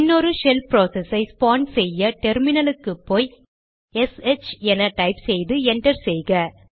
இன்னொரு shell process ஐ spawn செய்ய டெர்மினல் க்கு போய் எஸ்ஹெச் என டைப் செய்து என்டர் செய்க